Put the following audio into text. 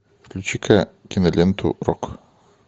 включи ка киноленту рок